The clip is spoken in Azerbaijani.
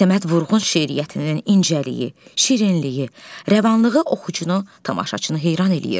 Səməd Vurğun şeiriyyətinin incəliyi, şirinliyi, rəvanlığı oxucunu, tamaşaçını heyran eləyir.